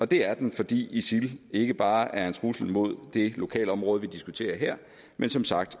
det er den fordi isil ikke bare er en trussel mod det lokalområde vi diskuterer her men som sagt